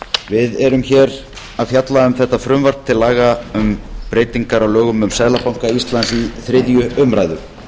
við erum hér að fjalla um þetta frumvarp til laga um breytingar á lögum um seðlabanka íslands við þriðju umræðu